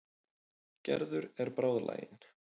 Gerður er bráðlagin.